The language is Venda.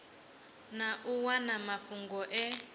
na u wana mafhungo e